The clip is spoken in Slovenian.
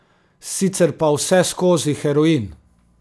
Sicer pa vseskozi heroin.